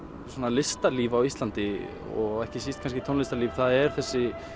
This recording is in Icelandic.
listalíf á Íslandi og ekki síst tónlistarlíf það er þessi